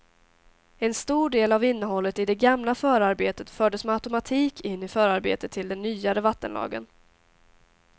En stor del av innehållet i det gamla förarbetet fördes med automatik in i förarbetet till den nyare vattenlagen.